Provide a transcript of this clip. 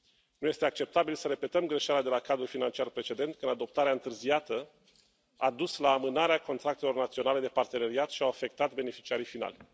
Nu este acceptabil să repetăm greșeala de la cadrul financiar precedent când adoptarea întârziată a dus la amânarea contractelor naționale de parteneriat și au fost afectați beneficiarii finali.